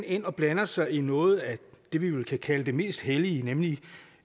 ind og blander sig i noget af det vi vel kan kalde det mest hellige nemlig